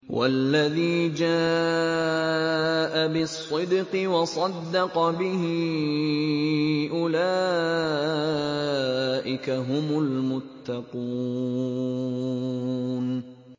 وَالَّذِي جَاءَ بِالصِّدْقِ وَصَدَّقَ بِهِ ۙ أُولَٰئِكَ هُمُ الْمُتَّقُونَ